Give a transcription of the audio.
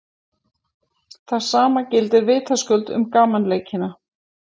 það sama gildir vitaskuld um gamanleikina